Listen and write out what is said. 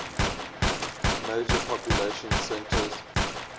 major population centers